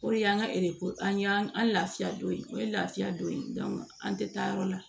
O de y'an ka an y'an lafiya don o ye lafiya don an tɛ taa yɔrɔ la